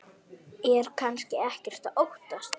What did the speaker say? Er kannski ekkert að óttast?